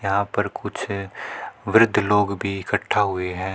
यहाँ पर कुछ वृद्ध लोग भीं इकट्ठा हुए हैं।